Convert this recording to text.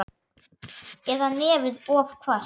Eða nefið of hvasst.